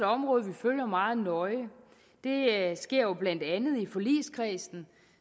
område vi følger meget nøje det sker jo blandt andet i forligskredsen